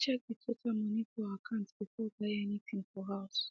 she check the total moni for her akant before buy any thing for house